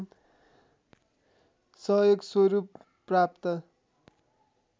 सहयोग स्वरूप प्राप्त